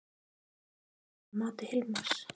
Var þetta brot að mati Hilmars?